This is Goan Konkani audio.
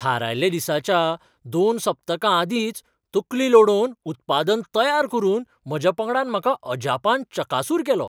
थारायल्ल्या दिसाच्या दोन सप्तकां आदींच तकली लडोवन उत्पादन तयार करून म्हज्या पंगडान म्हाका अजापान चकासूर केलो.